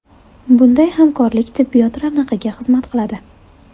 Bunday hamkorlik tibbiyot ravnaqiga xizmat qiladi.